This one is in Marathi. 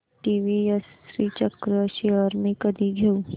टीवीएस श्रीचक्र शेअर्स मी कधी घेऊ